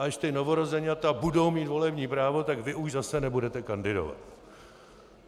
A až ta novorozeňata budou mít volební právo, tak vy už zase nebudete kandidovat.